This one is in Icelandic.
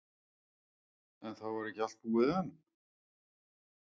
En það var ekki allt búið enn?